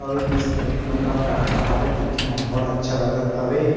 अउ एमेर सब एक नंबर का-का हवे देखे म बढ़ अच्छा लगत हवे।